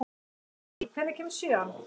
Mary, hvenær kemur sjöan?